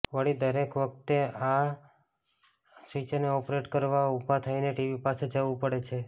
વળી દરેક વખતે આ સ્વિચરને ઓપરેટ કરવા ઊભા થઈને ટીવી પાસે જવું પડે છે